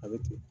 A bɛ ten